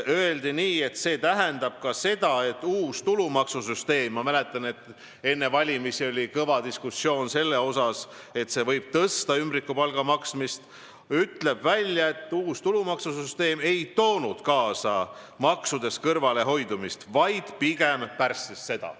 Öeldi, et see tähendab ka seda, et uus tulumaksusüsteem – ma mäletan, et enne valimisi oli kõva diskussioon, et see võib suurendada ümbrikupalga maksmist – ei toonud kaasa maksudest kõrvalehoidmist, vaid pigem pärssis seda.